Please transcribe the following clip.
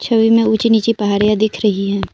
छवि में ऊंची नीची पहाड़े दिख रही हैं।